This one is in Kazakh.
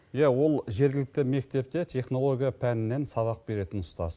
иә ол жергілікті мектепте технология пәнінен сабақ беретін ұстаз